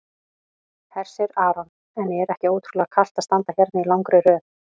Hersir Aron: En er ekki ótrúlega kalt að standa hérna í langri röð?